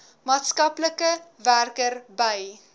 maatskaplike werker by